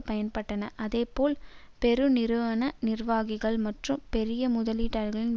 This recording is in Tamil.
பயன்பட்டன அதே போல் பெருநிறுவன நிர்வாகிகள் மற்றும் பெரிய முதலீட்டாளர்களின்